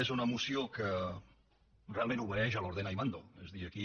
és una moció que realment obeeix a l’ordeno y mando és a dir aquí